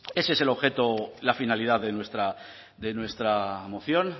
ese es el objeto la finalidad de nuestra moción